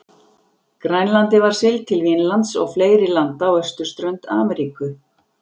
Grænlandi var siglt til Vínlands og fleiri landa á austurströnd Ameríku.